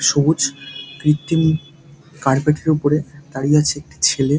সবুজ কৃত্রিমি কার্পেট -এর উপরে দাঁড়িয়ে আছে একটি ছেলে।